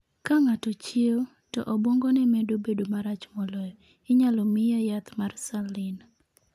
Ka ng'ato chiewo, to obwongone medo bedo marach moloyo, inyalo miye yath mar saline.